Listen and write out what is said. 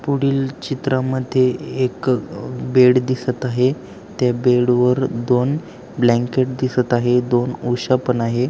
पुढील चित्रामध्ये एक अ अ बेड दिसत आहे. त्या बेडवर दोन ब्लँकेट दिसत आहे दोन उशा पण आहे.